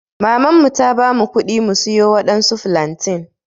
maman mu ta bamu kuɗi mu siyo waɗansu flantain.